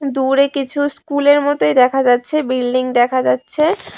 দূরে কিছু স্কুলের মতই দেখা যাচ্ছে বিল্ডিং দেখা যাচ্ছে।